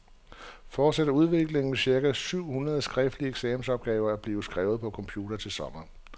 Fortsætter udviklingen, vil cirka syv hundrede skriftlige eksamensopgaver blive skrevet på computer til sommer.